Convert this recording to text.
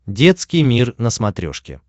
детский мир на смотрешке